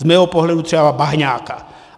Z mého pohledu třeba Bahňáka.